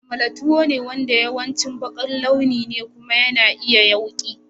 Amala tuwo ne wanda yawanci baƙar launi ne kuma yana iya yawki.